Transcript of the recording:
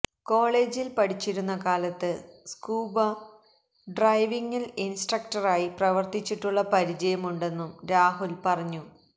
കോളേജിൽ പഠിച്ചിരുന്ന കാലത്ത് സ്കൂബ ഡൈവിംഗിൽ ഇൻസ്ട്രക്ടറായി പ്രവർത്തിച്ചിട്ടുള്ള പരിചയം ഉണ്ടെന്നും രാഹുൽ പറഞ്ഞു